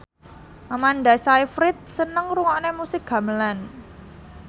Amanda Sayfried seneng ngrungokne musik gamelan